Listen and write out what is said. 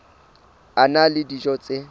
a na le dijo tse